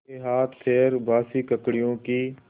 उसके हाथपैर बासी ककड़ियों की